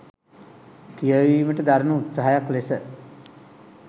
කියවීමට දරණ උත්සාහයක් ලෙස